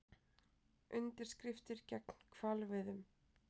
Undirskriftir gegn hvalveiðum